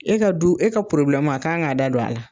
E ka du e ka a kan ka da don a la.